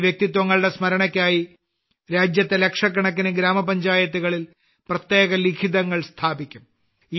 ഈ വ്യക്തിത്വങ്ങളുടെ സ്മരണയ്ക്കായി രാജ്യത്തെ ലക്ഷക്കണക്കിന് ഗ്രാമപഞ്ചായത്തുകളിൽ പ്രത്യേക ലിഖിതങ്ങൾ സ്ഥാപിക്കും